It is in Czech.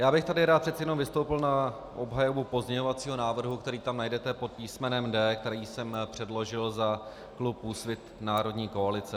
Já bych tady rád přece jenom vystoupil na obhajobu pozměňovacího návrhu, který tam najdete pod písmenem D, který jsem předložil za klub Úsvit - národní koalice.